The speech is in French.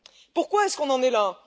Pourquoi en sommes nous là?